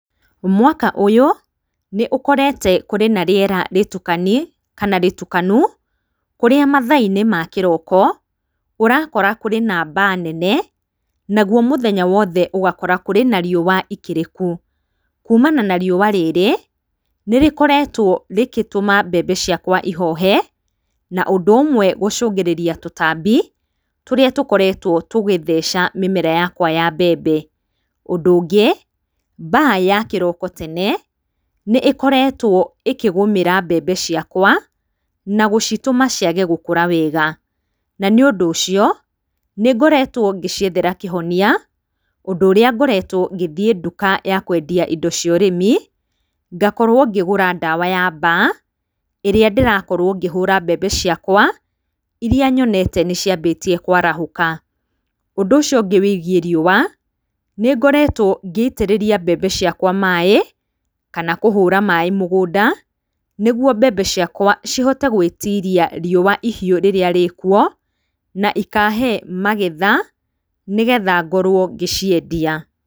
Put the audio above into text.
Mwaka ũyũ nĩũkorete kũrĩ na rĩera rĩtukanu kũrĩa mathaa-inĩ ma kĩrooko, ũrakora kũrĩ na mbaa nene, naguo mũthenya wothe ũgakora kũrĩ na riũa ikĩrĩku, kuumana na riũa rĩrĩ, nĩrĩkoretwo rĩkĩtũma mbembe ciakwa ihoohe, na ũndũ ũmwe gũcũngrĩria tũtambi tũrĩa tũkoretwo tũgĩtheca mĩmera yakwa ya mbembe. Ũndũ ũngĩ, mbaa ya kĩroko tene, nĩĩkoretwo ĩkĩgũmĩra mbembe ciakwa, na gũcitũma ciage gũkũra wega ,na nĩũndũ ũcio nĩngoretwo ngĩciethera kĩhonia, ũndũ ũrĩa ngoretwo ngĩthiĩ ndũka ya kwendia indo ciorĩmi, ngakorwo ngĩgũra ndawa ya mbaa ĩrĩa ndĩrakorwo ngĩhũũra mbembe ciakwa, iria nyonete nĩciambĩtie kwarahũka. Ũndũ ũcio ũngĩ wĩgiĩ riũa, nĩngoretwo ngĩitĩrĩria mbembe ciakwa maĩĩ, kana kũhũũra maĩĩ mũgũnda, nĩguo mbembe ciakwa cihote gwĩtiria riũa ihiũ rĩrĩa rĩĩkuo na ikahee magetha nĩgetha ngorwo ngĩciendia.